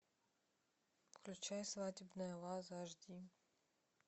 включай свадебная ваза аш ди